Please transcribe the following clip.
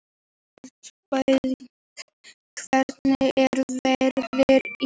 Elínbjört, hvernig er veðrið í dag?